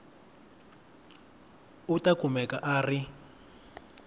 u ta kumeka a ri